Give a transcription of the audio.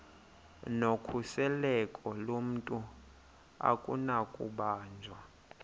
nokhuseleko lomntu akunakubanjwa